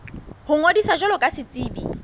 ho ngodisa jwalo ka setsebi